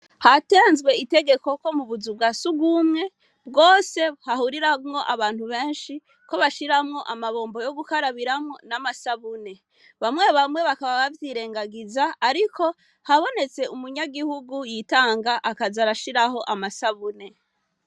Hatenzwe itegeko ko bu buzu bwa surwumwe, bwose hahuriramwo abantu benshi, ko bashiramwo amabombo yo gukarabiramwo n'amasabuni. Bamwe bamwe bakaba bavyirengagiza, ariko habonetse umunyagihugu yitanga akaza arashiraho amasabune.